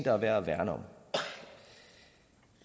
er værd at værne om